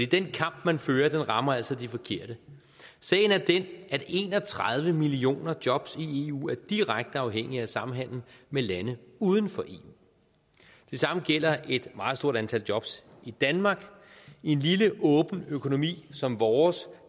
den kamp man fører rammer altså de forkerte sagen er den at en og tredive millioner jobs i eu er direkte afhængige af samhandel med lande uden for eu det samme gælder et meget stort antal jobs i danmark i en lille åben økonomi som vores